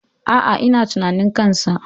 Aa, ina tunanin kansa